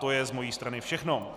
To je z mojí strany všechno.